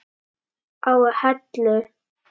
á Hellu.